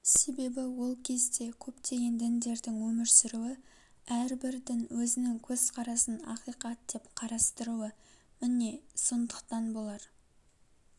себебі ол кезде көптеген діндердің өмір сүруі әрбір дін өзінің көзқарасын ақиқат деп қарастыруы міне сондықтан болар